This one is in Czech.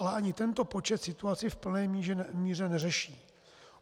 Ale ani tento počet situaci v plné míře neřeší.